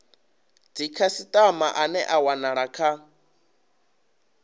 dzikhasitama ane a wanala kha